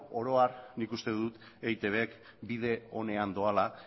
oro har nik uste dut eitb bide onean doala